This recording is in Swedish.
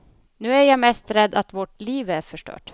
Nu är jag mest rädd att vårt liv är förstört.